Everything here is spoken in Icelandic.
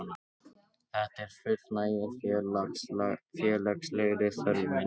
Þetta fullnægir félagslegri þörf minni.